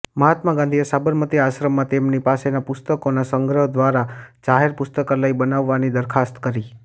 મહાત્મા ગાંધીએ સાબરમતી આશ્રમમાં તેમની પાસેનાં પુસ્તકોના સંગ્રહ દ્વારા જાહેર પુસ્તકાલય બનાવવાની દરખાસ્ત કરી